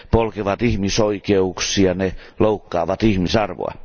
Ne polkevat ihmisoikeuksia ja loukkaavat ihmisarvoa.